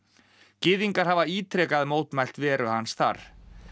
gyðingar hafa ítrekað mótmælt veru hans þar